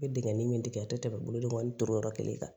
N bɛ dingɛin min dege a tɛ tɛmɛ bolodenkɔrɔ turu yɔrɔ kelen kan